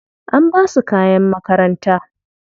An basu kayan makaranta.